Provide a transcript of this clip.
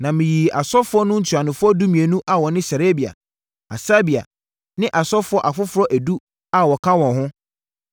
Na meyii asɔfoɔ no ntuanofoɔ dumienu a wɔne Serebia, Hasabia ne asɔfoɔ afoforɔ edu a wɔka wɔn ho,